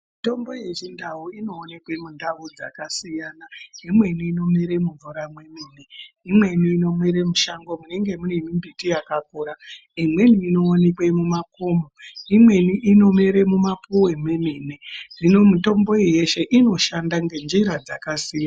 Tombo yechindau inoonekwe mundau dzakasiyana imweni inomere mumvura mwemene imweni inomere mushango munenge mune mimbiti yakakura imweni inowanikwe mumakomo imweni inomere mumapuwe mwemene hino mitombo iyi yeshe inoshanda ngenjira dzakasiya.